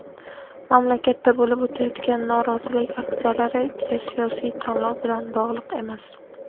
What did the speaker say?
mamlakatda bo‘lib o‘tayotgan norozilik aksiyalari "geosiyosiy tanlov bilan" bog‘liq emas.